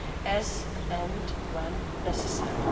as and when necessary.